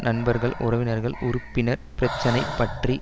நண்பர்கள் உறவினர்கள் உறுப்பினர் பிரச்சினை பற்றி